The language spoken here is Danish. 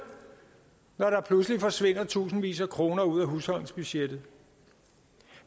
når der pludselig forsvinder tusindvis af kroner ud af husholdningsbudgettet